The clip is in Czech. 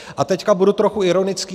A teď budu trochu ironický.